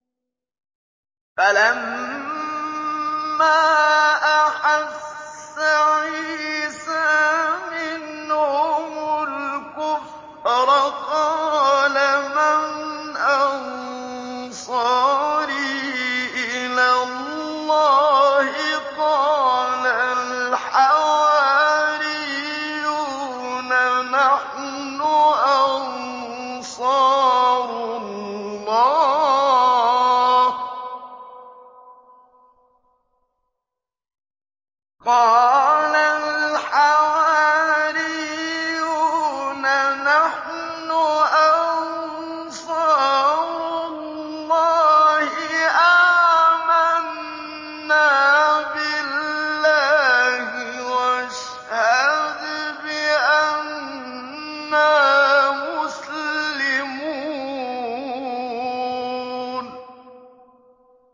۞ فَلَمَّا أَحَسَّ عِيسَىٰ مِنْهُمُ الْكُفْرَ قَالَ مَنْ أَنصَارِي إِلَى اللَّهِ ۖ قَالَ الْحَوَارِيُّونَ نَحْنُ أَنصَارُ اللَّهِ آمَنَّا بِاللَّهِ وَاشْهَدْ بِأَنَّا مُسْلِمُونَ